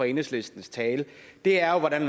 i enhedslistens tale er jo hvordan